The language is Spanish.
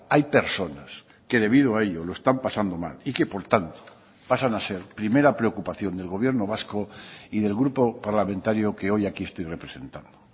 hay personas que debido a ello lo están pasando mal y que por tanto pasan a ser primera preocupación del gobierno vasco y del grupo parlamentario que hoy aquí estoy representando